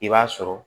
I b'a sɔrɔ